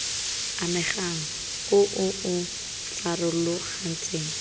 amegang o o o farologantshang